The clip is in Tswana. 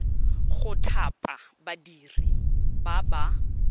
go thapa badiri ba ba